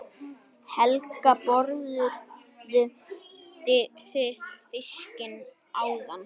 Helga: Borðuðu þið fiskinn áðan?